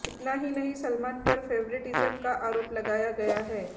इतना ही नहीं सलमान पर फेवरटिज्म का आरोप लगाया गया है